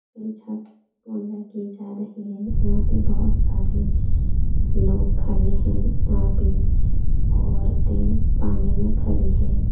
ये छठ पूजा की जा रही है। यहाँ पे बहुत सारे लोग खड़े हैं। यहाँ पे औरतें पानी में खड़ी हैं।